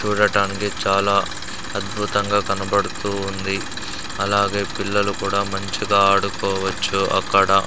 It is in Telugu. చూడటానికి చాలా అద్భుతంగా కనబడుతూ ఉంది అలాగే పిల్లలు కూడా మంచి గా ఆడుకోవచ్చు అక్కడ--